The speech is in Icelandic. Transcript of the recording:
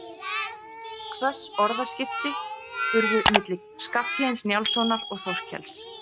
Hvöss orðaskipti urðu milli Skarphéðins Njálssonar og Þorkels.